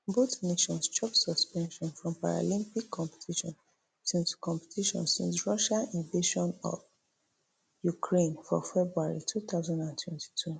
both nations chop suspension from paralympic competition since competition since russia invasion of ukraine for february two thousand and twenty-two